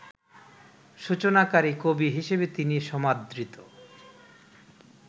সূচনাকারী কবি হিসেবে তিনি সমাদৃত